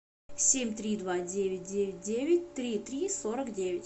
семь три два девять девять девять три три сорок девять